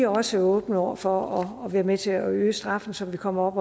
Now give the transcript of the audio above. også åbne over for at være med til at øge straffen så vi kommer